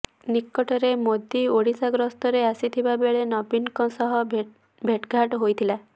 ନିକଟରେ ମୋଦି ଓଡ଼ିଶା ଗସ୍ତରେ ଆସିଥିବା ବେଳେ ନବୀନଙ୍କ ସହ ଭେଟଘାଟ ହୋଇଥିଲା